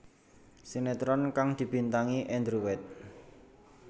Sinetron kang dibintangi Andrew White